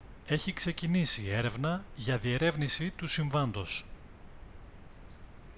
έχει ξεκινήσει έρευνα για διερεύνηση του συμβάντος